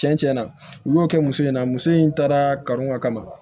Cɛn cɛn na olu y'o kɛ muso in na muso in taara ka n ka kaman